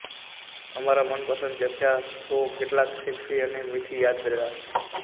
અમારા મનપસંદ ચર્ચા શો કેટલાક સેક્સી અને મીઠી યાદદાસ્ત